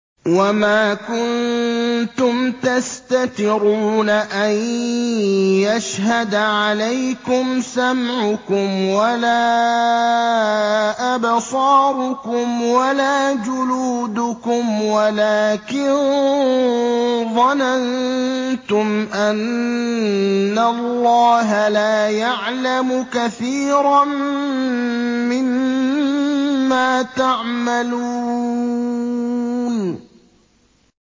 وَمَا كُنتُمْ تَسْتَتِرُونَ أَن يَشْهَدَ عَلَيْكُمْ سَمْعُكُمْ وَلَا أَبْصَارُكُمْ وَلَا جُلُودُكُمْ وَلَٰكِن ظَنَنتُمْ أَنَّ اللَّهَ لَا يَعْلَمُ كَثِيرًا مِّمَّا تَعْمَلُونَ